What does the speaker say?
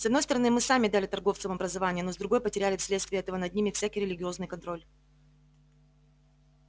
с одной стороны мы сами дали торговцам образование но с другой потеряли вследствие этого над ними всякий религиозный контроль